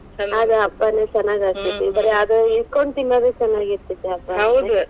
ಅದ್ ಹಬ್ಬಾನು ಚೆನ್ನಾಗ್ ಆಗತ್ತೇತಿ ಬರೇ ಅದ ಇಟ್ಕೋಂಡ್ ತಿನ್ನೋದ್ ಚೆನ್ನಾಗಿತೆ೯ತಿ ಹಬ್ಬಾ.